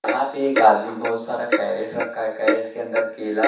यहां पे एक आदमी बहुत सारा कैरेट रखा है कैरेट के अंदर केला--